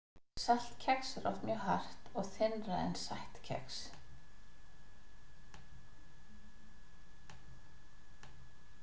Saltkex er oft mjög hart og þynnra en sætt kex.